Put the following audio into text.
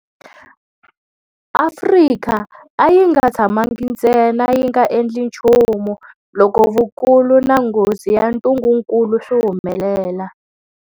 Afrika a yi nga tshamangi ntsena yi nga endli nchumu loko vukulu na nghozi ya ntungukulu swi humelela.